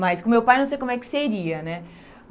mas com meu pai não sei como é que seria, né?